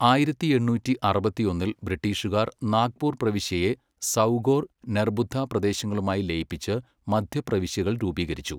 ആയിരത്തി എണ്ണൂറ്റി അറുപത്തിയൊന്നിൽ ബ്രിട്ടീഷുകാർ നാഗ്പൂർ പ്രവിശ്യയെ സൗഗോർ, നെർബുദ്ദ പ്രദേശങ്ങളുമായി ലയിപ്പിച്ച് മദ്ധ്യ പ്രവിശ്യകൾ രൂപീകരിച്ചു.